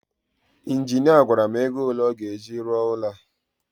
injinia gwara m ego ole a ga-eji rụọ ụlọ a